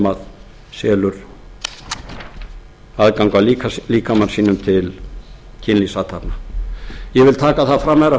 sem selur aðgang að líkama sínum til kynlífsathafna ég vil taka það fram herra